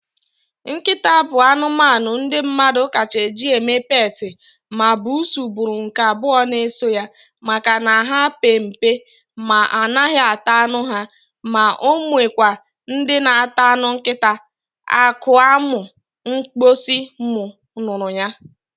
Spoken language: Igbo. Nkịta bụ anụmanụ ndị mmadụ kacha eji eme peetị, ma bussu bụrụ nke abụọ na eso ya, maka na ha pe mpe ma anaghị ata anụ ha, ma ọ nwekwa ndị na ata anụ nkịta, akụ a mụ mgbọsị mụ nụrụ ya